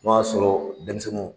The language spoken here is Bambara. N'o y'a sɔrɔ denmisɛninw